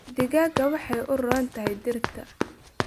Digada waxay u roon tahay dhirta.